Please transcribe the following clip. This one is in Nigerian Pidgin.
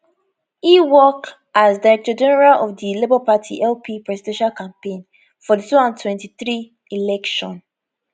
e work as directorgeneral of di labour party lp presidential campaign for di 2023 election